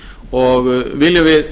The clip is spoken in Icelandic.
og viljum við